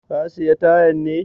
Ka sayi tayan ne?